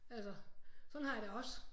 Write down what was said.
Altså sådan har jeg det også